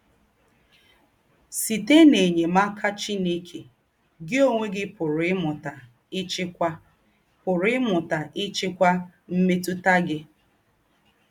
Sìtè̄ n’ényémàkà Chìnèkè, gị ǒnwé gị pụ̀rù́ ímụta ị́chị́kwà pụ̀rù́ ímụta ị́chị́kwà m̀mètụ̀tà gị.